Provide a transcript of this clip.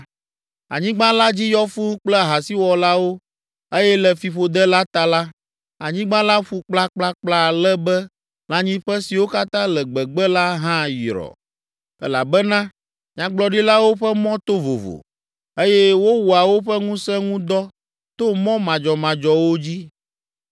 Anyigba la dzi yɔ fũu kple ahasiwɔlawo eye le fiƒode la ta la, anyigba la ƒu kplakplakpla ale be lãnyiƒe siwo katã le gbegbe la hã yrɔ; elabena Nyagblɔɖilawo ƒe mɔ to vovo eye wowɔa woƒe ŋusẽ ŋu dɔ to mɔ madzɔmadzɔwo dzi.